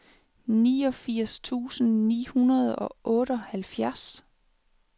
niogfirs tusind ni hundrede og otteoghalvfjerds